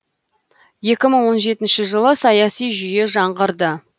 екі мың он жетінші жылы саяси жүйе жаңғырды